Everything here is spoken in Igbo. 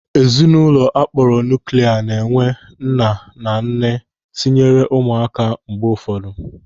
Ezinụlọ akpọrọ nuuklia na-enwe nne na nna tinyere ụmụaka mgbe ụfọdụ.